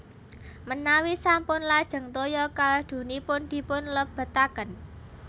Menawi sampun lajeng toya kaldunipun dipun lebetaken